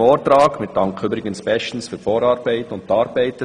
Wir danken an dieser Stelle der JGK bestens für die geleistete Arbeit.